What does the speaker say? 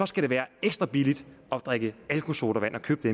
skal det være ekstra billigt at drikke alkosodavand og købe